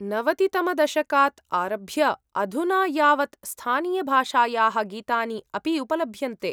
नवतितमदशकात् आरभ्य अधुना यावत् स्थानीयभाषायाः गीतानि अपि उपलभ्यन्ते।